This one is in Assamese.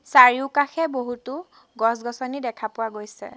চাৰিওকাষে বহুতো গছ-গছনি দেখা পোৱা গৈছে।